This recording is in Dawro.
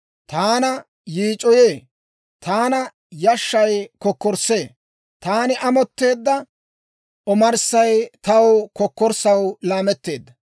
Taana yiic'oyee; taana yashshay kokkorssee; taani amotteedda omarssay taw kokkorssaw laametteedda.